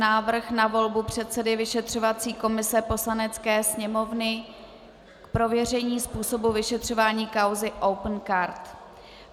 Návrh na volbu předsedy vyšetřovací komise Poslanecké sněmovny k prověření způsobu vyšetřování kauzy Opencard